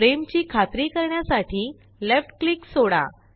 frame ची खात्री करण्यासाठी लेफ्ट क्लिक सोडा